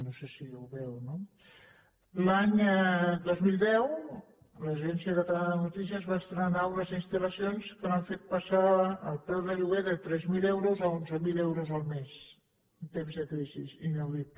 no sé si ho veu no l’any dos mil deu l’agència catalana de notícies va estrenar unes instal·lacions que han fet passar el preu de lloguer de tres mil euros a onze mil euros el mes en temps de crisi inaudit